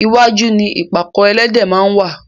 iwájú ni ìpàkọ́ ẹlẹ́dẹ̀ máa ń wá.